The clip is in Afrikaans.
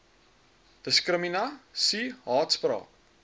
diskrimina sie haatspraak